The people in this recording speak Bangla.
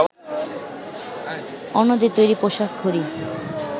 অন্যদের তৈরি পোশাক, ঘড়ি